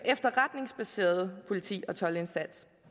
efterretningsbaseret politi og toldindsats